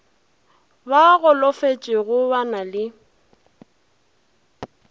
ba golofetšego ba na le